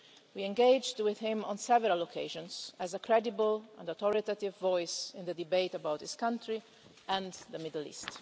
We engaged with him on several occasions as a credible and authoritative voice in the debate about his country and the Middle East.